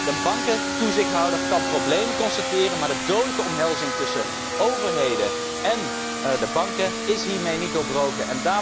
Een bankentoezichthouder kan problemen constateren, maar de dodelijke omhelzing tussen overheden en de banken is hiermee niet doorbroken.